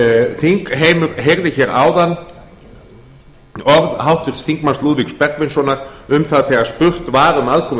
þingheimur heyrði hér áðan orð háttvirts þingmanns lúðvíks bergvinssonar um það þegar spurt var um aðkomu